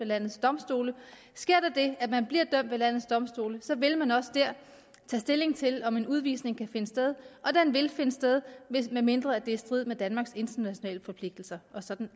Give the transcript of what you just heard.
landets domstole sker der det at man bliver dømt ved landets domstole så vil man også dér tage stilling til om en udvisning kan finde sted og den vil finde sted medmindre det er i strid med danmarks internationale forpligtelser sådan